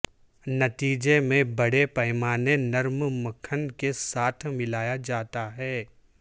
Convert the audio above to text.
نتیجے میں بڑے پیمانے نرم مکھن کے ساتھ ملایا جاتا ہے